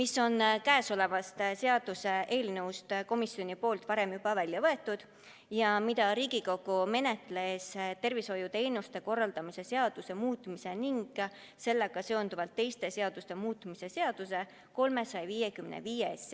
Selle teema on komisjon varem eelnõust välja võtnud, sest Riigikogu käsitles seda tervishoiuteenuste korraldamise seaduse muutmise ning sellega seonduvalt teiste seaduste muutmise seaduse eelnõus 355.